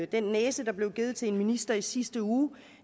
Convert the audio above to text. den næse der blev givet til en minister i sidste uge